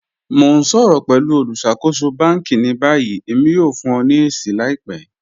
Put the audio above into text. Mọ̀ n ṣọ̀rọ̀ pẹ̀lú olùṣakòsò bánkì ní báyì, èmi yóò fún ọ̀ ní èṣì làìpẹ́.